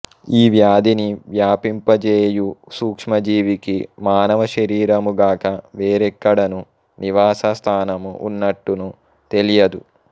ఈ వ్యాధిని వ్యాపింప జేయు సూక్ష్మ జీవికి మానవ శరీరము గాక వేరెక్కడను నివాస స్థానము ఉన్నట్టును తెలియదు